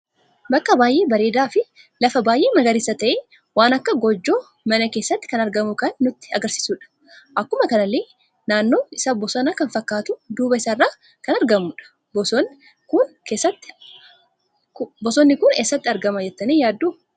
Bakka baay'ee bareeda fi lafa baay'ee magariisa ta'e ,waan akka goojjoo mana keessatti kan argamu kan nutti agarsiisudha. Akkuma kanallee naannoo isaa bosona kan fakkatu duuba isaarran kan argamudha. Bosonni kun eessatti argama jettani yaaddu?